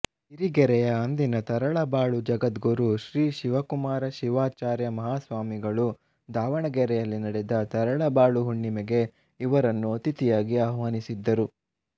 ಸಿರಿಗೆರೆಯ ಅಂದಿನ ತರಳಬಾಳು ಜಗದ್ಗುರು ಶ್ರೀ ಶಿವಕುಮಾರ ಶಿವಾಚಾರ್ಯ ಮಾಹಾಸ್ವಾಮಿಗಳು ದಾವಣಗೆರೆಯಲ್ಲಿ ನಡೆದ ತರಳಬಾಳು ಹುಣ್ಣಿಮೆಗೆ ಇವರನ್ನು ಅತಿಥಿಯಾಗಿ ಆಹ್ವಾನಿಸಿದ್ದರು